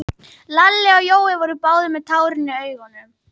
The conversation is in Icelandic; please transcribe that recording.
Lalli og Jói voru báðir með tárin í augunum.